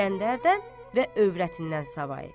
İsgəndərdən və övrətindən savayı.